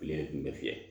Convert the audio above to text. Tile kun bɛ fiyɛ